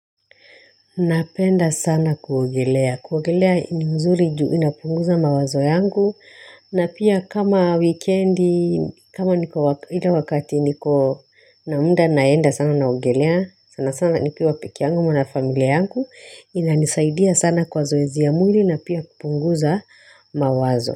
Napenda sana kuogelea. Kuogelea ni mzuri juu inapunguza mawazo yangu na pia kama wikendi kama niko wakati niko na muda naenda sana naogelea sana sana nikiwa pekee yangu ama na familia yangu inanisaidia sana kwa zoezi ya mwili na pia kupunguza mawazo.